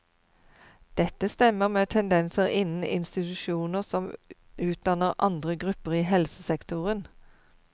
Dette stemmer med tendenser innen institusjoner som utdanner andre grupper i helsesektoren.